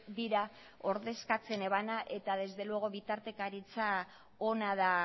dira ordezkatzen ebana eta desde luego bitartekaritza ona da